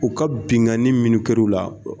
U ka binkanni minnu kɛru la